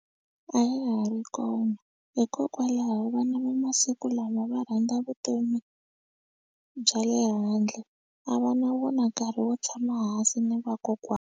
A ya ha ri kona hikokwalaho vana va masiku lama va rhandza vutomi bya le handle a va na vona nkarhi wo tshama hansi ni vakokwana.